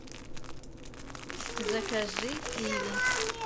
закажи киви